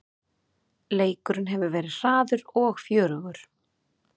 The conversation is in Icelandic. Leikurinn hefur verið hraður og fjörugur